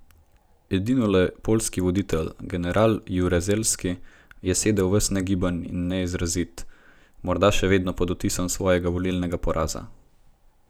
Edinole poljski voditelj general Jaruzelski je sedel ves negiben in neizrazit, morda še vedno pod vtisom svojega volilnega poraza.